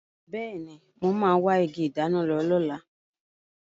Bẹẹni, mo máa wa igi ìdáná lọ lóla